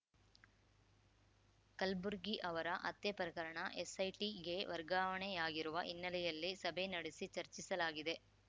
ಕಲ್ಬುರ್ಗಿ ಅವರ ಹತ್ಯೆ ಪ್ರಕರಣ ಎಸ್‌ಐಟಿಗೆ ವರ್ಗಾವಣೆಯಾಗಿರುವ ಹಿನ್ನೆಲೆಯಲ್ಲಿ ಸಭೆ ನಡೆಸಿ ಚರ್ಚಿಸಲಾಗಿದೆ